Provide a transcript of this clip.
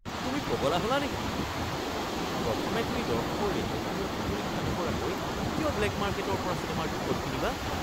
তুমি পগলা হ'লা নেকি? প্ৰথমে তুমি দৰ্শকৰ ৰেটিংসমূহ পৰীক্ষা নকৰাকৈ কিয় ব্লেক মাৰ্কেটৰ পৰা চিনেমাৰ টিকট কিনিবা?